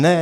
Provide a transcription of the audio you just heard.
Ne.